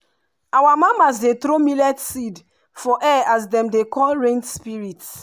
our mamas dey throw millet seed for air as dem dey call rain spirit.